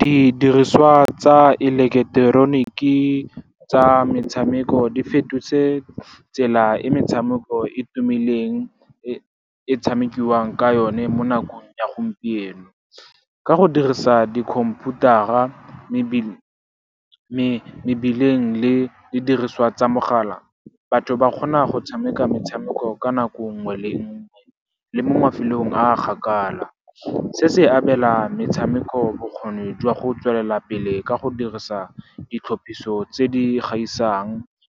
Didiriswa tsa eleketeroniki tsa metshameko di fetotse tsela e metshameko e tumileng e tshamekiwang ka yone mo nakong ya gompieno. Ka go dirisa di khomphutara, mebileng le didiriswa tsa mogala, batho ba kgona go tshameka metshameko ka nako nngwe le nngwe le mo mafelong a kgakala. Se se abela metshameko bokgoni jwa go tswelela pele ka go dirisa ditlhopiso tse di gaisang,